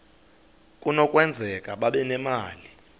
kunokwenzeka babe nemali